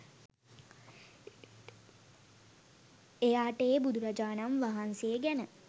එයාට ඒ බුදුරජාණන් වහන්සේ ගැන